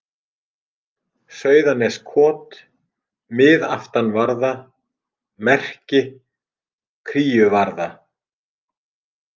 Sauðaneskot, Miðaftanvarða, Merki, Kríuvarða